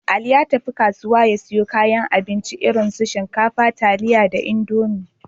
Ali ya tafi kasuwa ya siyo kayan abinci, irin su shinkafa, taliya da Indomi.